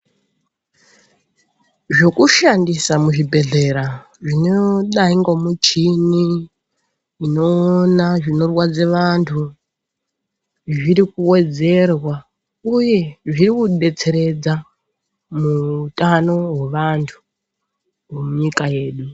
Zvokushandisa muzvibhedhlera, zvinodayi ngomuchini, inowona zvinorwadze vantu, zvirikuwedzerwa, uye zvirikudetseredza muwutano wevantu munyika yedu.